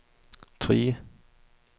Trige